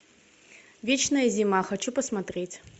вечная зима хочу посмотреть